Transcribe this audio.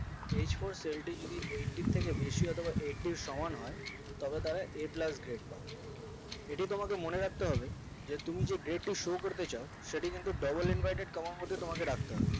h four seal টি যদি eighty ইর বেশি অথবা eighty ইর সমান হয় তবে তারা a plus grade পাবে এটি তোমাদের মনে রাখতে হবে যে তুমি যে grade টি show করতে চাও সেটি কিন্তু double inverted আর মধ্যে তোমাকে রাখতে হবে